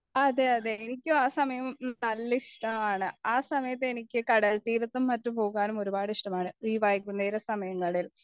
അതെ അതെ എനിക്ക് ആ സമയം നല്ല ഇഷ്ടമാണ് ആ സമയത്ത് എനിക്കും കടൽ തീരത്തും മറ്റും പോകാനും ഒരുപാട് ഇഷ്ടമാണ് ഈ വൈകുന്നേര സമയങ്ങളിൽ